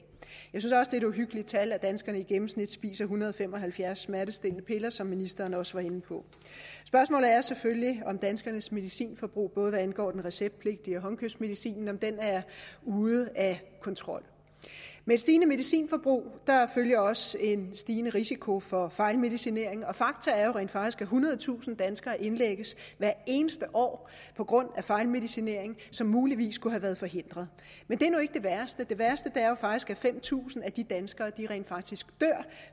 er et uhyggeligt tal at danskerne i gennemsnit spiser en hundrede og fem og halvfjerds smertestillende piller som ministeren også var inde på spørgsmålet er selvfølgelig om danskernes medicinforbrug både hvad angår receptpligtig medicin og håndkøbsmedicin er ude af kontrol med et stigende medicinforbrug følger også en stigende risiko for fejlmedicinering fakta er jo rent faktisk at ethundredetusind danskere indlægges hvert eneste år på grund af fejlmedicinering som muligvis kunne have været forhindret men det er nu ikke det værste det værste er faktisk at fem tusind af de danskere rent faktisk dør